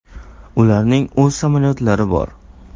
Ularning o‘z samolyotlari bor.